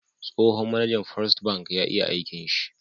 Tsohon mAnajan first ban ya iya aikin shi